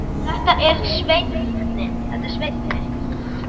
Þetta er Svenni.